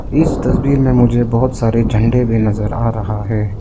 इस तस्वीर में मुझे बहोत सारे झंडे भी नजर आ रहा है।